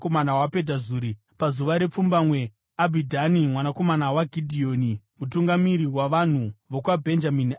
Pazuva repfumbamwe, Abhidhani mwanakomana waGidheoni mutungamiri wavanhu vokwaBhenjamini, akauya nechipiriso chake.